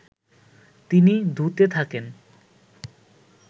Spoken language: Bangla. তিনি ধু-তে থাকেন